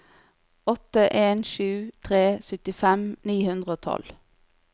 åtte en sju tre syttifem ni hundre og tolv